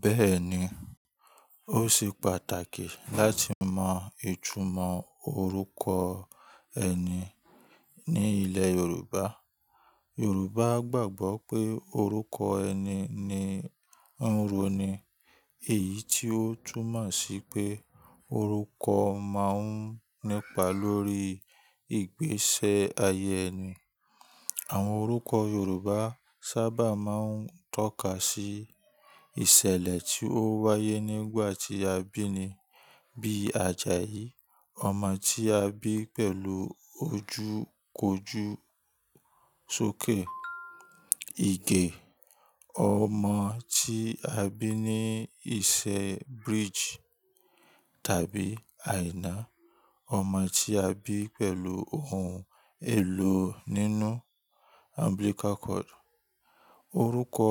Bẹ́ẹ̀ni, ó ṣe pàtàkì láti mọ ìtumọ̀ orúkọ ẹni ní ilẹ̀ Yorùbá. Yorùbá gbàgbọ́ pé orúkọ ẹni ni ro ni, èyí tí ó túmọ̀ sí pé orúkọ máa ń nípa lórí ìgbésẹ ayé ẹni. Àwọn orúkọ Yorùbá sábà máa ń tọ́ka sí ìsẹ̀lẹ̀ tí ó wáyé nígbà tí a bí ni bíi Ajayi: Ọmọ tí a bí pẹ̀lú ojúkojú só ke. Ige: Ọmọ tí a bí ní ìsẹ̀ bridge tàbí àìná. Ọmọ tí a bí pẹ̀lú oun èlò nínú umbilical cord. Orúkọ